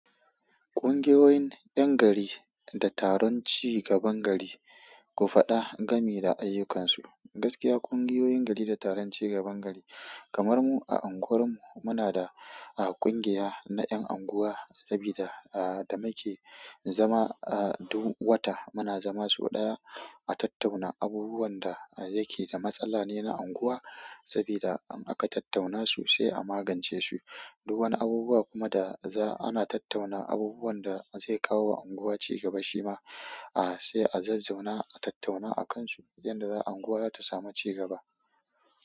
Ƙungiyoyin 'yan gari da taron cigaban gari, ku faɗa gami da ayyukansu. Gaskiya ƙungiyoyin gari da taron cigaban gari kamarmu a anguwar mu muna da ƙungiya ta ƴan anguwa sabida da mike zama a duk wata muna zama so ɗaya a tattauna abubuwan da yake da matsala ne na anguwa saboda in aka tattauna su sai a magance su. Du wani abubuwa kuma da za ana tattauna abubuwan da zai kawo wa unguwa cigaba shi ma a sai a zai zauna a tattauna a kan su yanda za anguwa za ta samu cigaba.